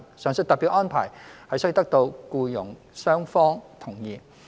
上述特別安排須得到僱傭雙方同意。